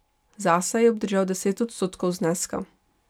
Zase je obdržal deset odstotkov zneska.